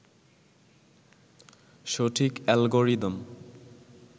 সঠিক অ্যালগোরিদম